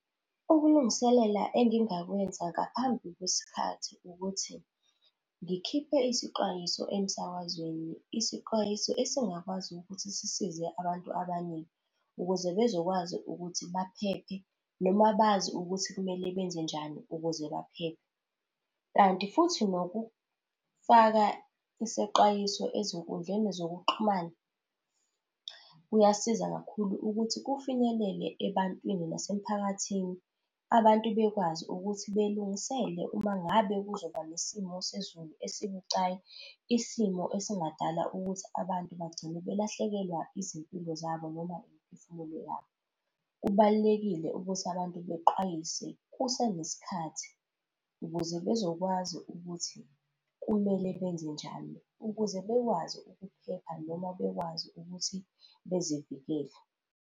Ukulungiselela engingakwenza ngaphambi kwesikhathi ukuthi ngikhiphe isixwayiso emsakazweni. Isixwayiso esingakwazi ukuthi sisize abantu abaningi ukuze bezokwazi ukuthi baphephe, noma bazi ukuthi kumele benze njani ukuze baphephe. Kanti futhi nokufaka isexwayiso ezinkundleni zokuxhumana kuyasiza kakhulu ukuthi kufinyelele ebantwini nasemphakathini, abantu bekwazi ukuthi belungisele uma ngabe kuzoba nesimo sezulu esibucayi, isimo esingadala ukuthi abantu bagcine balahlekelwa izimpilo zabo noma imiphefumulo yabo. Kubalulekile ukuthi abantu bexwayise kusenesikhathi ukuze bezokwazi ukuthi kumele benze njani ukuze bekwazi ukuphepha noma bekwazi ukuthi bezivikele.